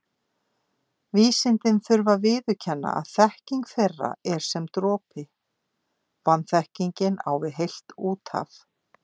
Vísindin þurfi að viðurkenna að þekking þeirra er sem dropi, vanþekkingin á við heilt úthaf.